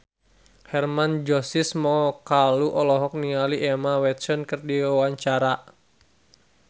Hermann Josis Mokalu olohok ningali Emma Watson keur diwawancara